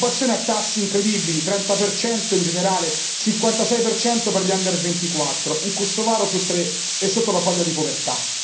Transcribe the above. La disoccupazione è a tassi incredibili, 30 in generale, 56 per gli under 24 un kosovaro su tre è sotto la soglia di povertà.